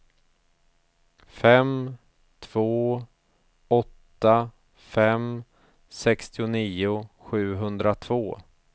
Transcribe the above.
fem två åtta fem sextionio sjuhundratvå